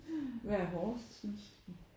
Hvad er hårdest synes du?